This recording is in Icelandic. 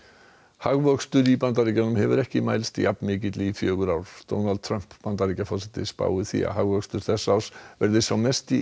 hagvöxtur í Bandaríkjunum hefur ekki mælst jafnmikill í fjögur ár Donald Trump Bandaríkjaforseti spáir því að hagvöxtur þessa árs verði sá mesti í